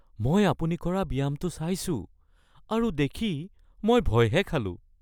মই আপুনি কৰা ব্যায়ামটো চাইছোঁ আৰু দেখি মই ভয়হে খালোঁ (ফিটনেছ প্ৰছপেক্ট)